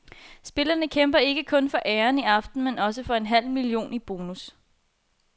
Spillerne kæmper ikke kun for æren i aften, men også for en halv million i bonus.